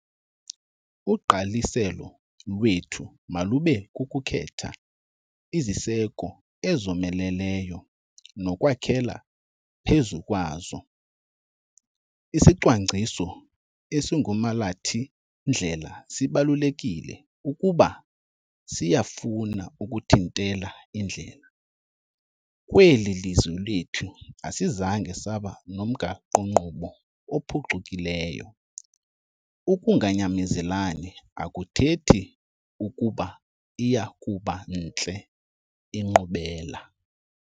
Ugqaliselo lwethu malube kukukhetha iziseko ezomeleleyo nokwakhela phezu kwazo. Isicwangciso esingumalathi-ndlela sibalulekile ukuba siyafuna ukuthintela indlala. Kweli lizwe lethu asizange saba nomgaqo-nkqubo ophucukileyo. Ukunganyamezelani akuthethi ukuba iya kuba ntle inkqubela.